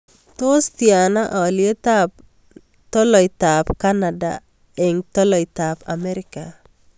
Tos' tyana alyetap tolaitap kanada eng' tolaitap Amerika